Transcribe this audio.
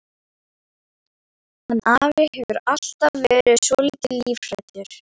Hann afi hefur alltaf verið svolítið lífhræddur.